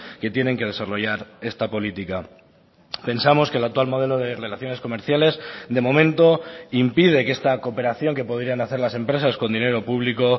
que tienen que desarrollar esta política pensamos que el actual modelo de relaciones comerciales de momento impide que esta cooperación que podrían hacer las empresas con dinero público